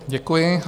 Děkuji.